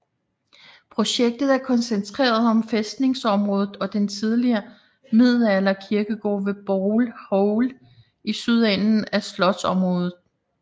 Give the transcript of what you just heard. Projektet er koncentreret om fæstningsområdet og den tidligere middelalder kirkegård ved Bowl Hole i sydenden af slotsområdet